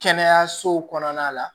Kɛnɛyasow kɔnɔna la